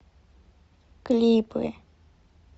клипы